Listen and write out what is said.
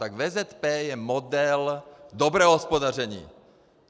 Tak VZP je model dobrého hospodaření.